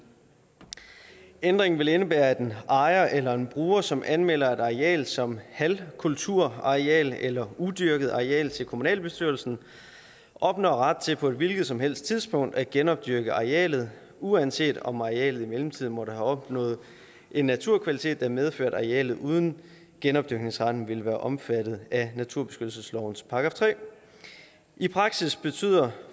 ændringen vil indebære at en ejer eller en bruger som anmelder et areal som halvkulturareal eller udyrket areal til kommunalbestyrelsen opnår ret til på et hvilket som helst tidspunkt at genopdyrke arealet uanset om arealet i mellemtiden måtte have opnået en naturkvalitet der medfører at arealet uden genopdyrkningsretten ville være omfattet af naturbeskyttelseslovens § tredje i praksis betyder